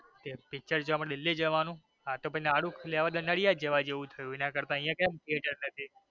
ઠીક પિક્ચર જોવા માટે દિલ્હી જવાનું આ તો પછી નારુ ખોલ્યું ને નરયા જ જવા જેવું થયું એના કરતા અહીંયા ક્યાં theater નથી.